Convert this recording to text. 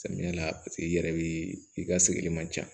Samiya la paseke i yɛrɛ be i ka sigili ma ca